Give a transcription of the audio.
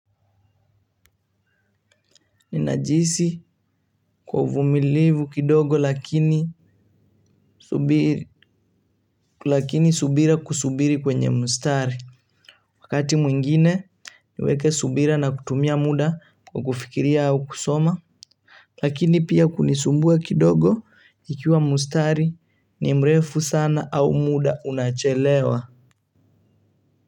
Ninajihisi kwa uvumilivu kidogo lakini lakini subira kusubiri kwenye mustari. Wakati mwingine niweke subira na kutumia muda kwa kufikiria au kusoma. Lakini pia kunisumbua kidogo ikiwa mustari ni mrefu sana au muda unachelewa.